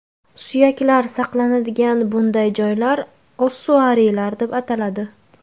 Suyaklar saqlanadigan bunday joylar ossuariylar deb ataladi.